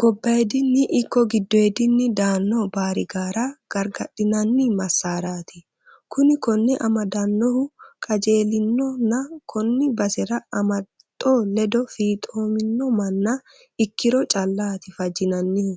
Gobbadinni ikko giddoodinni daano baarigara gargadhinanni masarati kuni kone amadanohu qajeelinonna koni basaru amaxo ledo fiixomino manna ikkiro callati fajinannihu